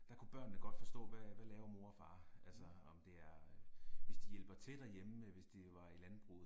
Der kunne børnene godt forstå hvad hvad laver mor og far altså om det er hvis de hjælper til derhjemme hvis det var i landbruget